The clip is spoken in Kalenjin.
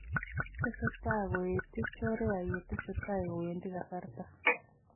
Tesetai koeti chorea yetesetai kowendi kasarta